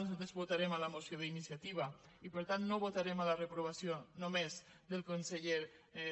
nosaltres votarem la moció d’iniciativa i per tant no votarem la reprovació només del conseller